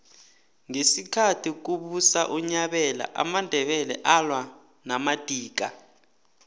ngesikhathi kubusa unyabela amandebele alwa namadika